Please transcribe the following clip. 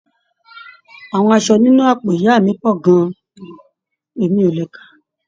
Àwọn aṣọ nínú àpò ìyá mí pọ gan-an, e mí o le kàà